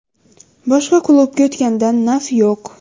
Boshqa klubga o‘tgandan naf yo‘q.